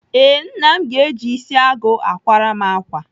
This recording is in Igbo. Ee, Nna m ga-eji isi agụ akwara m ákwà